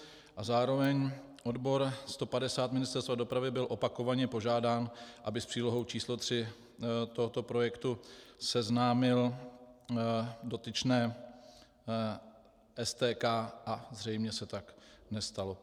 A zároveň odbor 150 Ministerstva dopravy byl opakovaně požádán, aby s přílohou číslo 3 tohoto projektu seznámil dotyčné STK, a zřejmě se tak nestalo.